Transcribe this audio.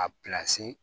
A